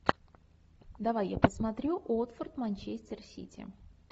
давай я посмотрю уотфорд манчестер сити